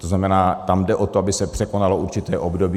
To znamená, tam jde o to, aby se překonalo určité období.